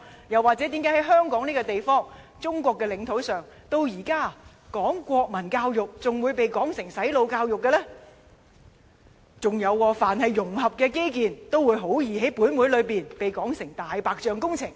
又或是，習主席或會問為何香港這個地方，在中國的領土下，至今推行國民教育仍會被說成是"洗腦"教育的呢？再者，凡是融合基建，也很易在立法會被說成"大白象"工程。